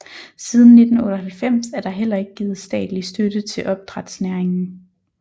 Siden 1998 er der heller ikke givet statlig støtte til opdrætsnæringen